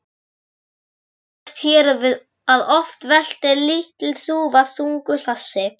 Það sannaðist hér að oft veltir lítil þúfa þungu hlassi.